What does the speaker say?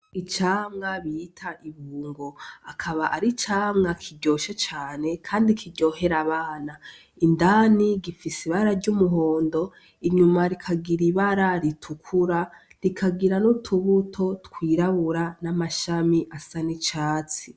Icamwa bita ibungo .Akaba ar'icamwa kiryoshe cane kandi kiryohera abana indani gifis'ibara ry'umuhondo inyuma rikagira ibara ritukura rikagira n'utubuto twirabura , n'amashami asa n'urwatsi.